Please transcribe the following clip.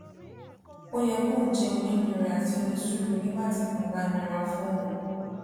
ó yẹ kóun jé onínúure àti onísùúrù nígbà tí nǹkan bá nira fún òun